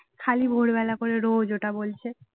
খালি ভোরবেলা করে রোজ ওটা বলছে